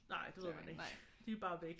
Nej det ved man ikke. De er bare væk